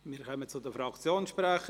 Wir kommen zu den Fraktionssprechern.